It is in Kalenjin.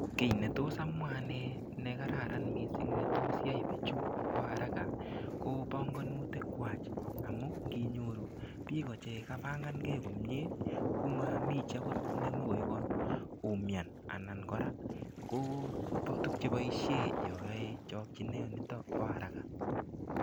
Kiy netos amwa ane ne kararan missing netos yai bichu bo haraka ko bongonutik kwach amu nginyoru biko chekapangankei komie komami chi akot nemokoi koumian anan kora ko tupcheboishe yo yoei chokchinet nito bo haraka